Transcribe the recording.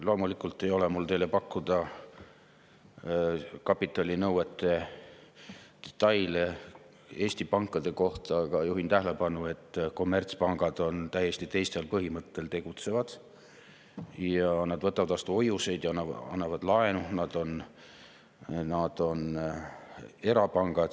Loomulikult ei ole mul teile pakkuda kapitalinõuete detaile Eesti pankade kohta, aga juhin tähelepanu, et kommertspangad tegutsevad täiesti teisel põhimõttel, nad võtavad vastu hoiuseid ja annavad laenu, nad on erapangad.